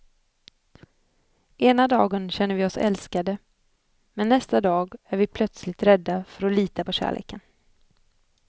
Ena dagen känner vi oss älskade, men nästa dag är vi plötsligt rädda för att lita på kärleken.